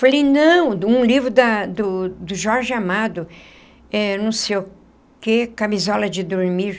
Falei, não, um livro da do do Jorge Amado eh, não sei o quê, Camisola de Dormir.